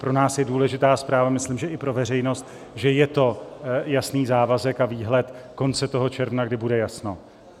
Pro nás je důležitá zpráva - myslím, že i pro veřejnost - že je to jasný závazek a výhled konce toho června, kdy bude jasno.